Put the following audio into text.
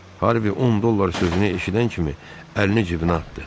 Harvi 10 dollar sözünü eşidən kimi əlini cibinə atdı.